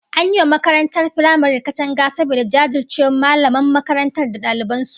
An yi wa makarantar firamaren katanga saboda jajircewar mallaman makarantar da daliban su